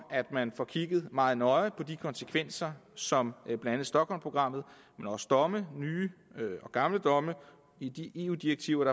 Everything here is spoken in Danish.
at man får kigget meget nøje på de konsekvenser som blandt andet stockholmprogrammet men også domme nye og gamle domme i de eu direktiver